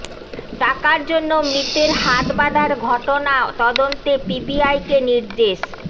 টাকার জন্য মৃতের হাত বাঁধার ঘটনা তদন্তে পিবিআইকে নির্দেশ